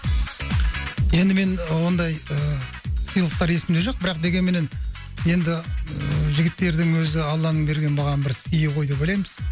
енді мен ондай ыыы сыйлықтар есімде жоқ бірақ дегенменен енді ыыы жігіттердің өзі алланың берген маған бір сыйы ғой деп ойлаймыз